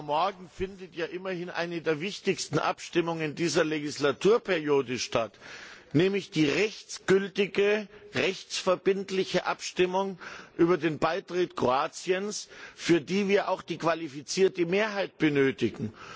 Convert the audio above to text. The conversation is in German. Morgen findet eine der wichtigsten Abstimmungen dieser Legislaturperiode statt, nämlich die rechtsgültige, rechtsverbindliche Abstimmung über den Beitritt Kroatiens, für die wir eine qualifizierte Mehrheit benötigen.